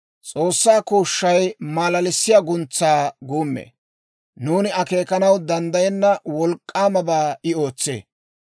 S'oossaa kooshshay malalissiyaa guntsaa guummee; nuuni akeekanaw danddayenna wolk'k'aamabaa I ootsee.